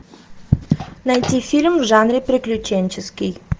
найти фильм в жанре приключенческий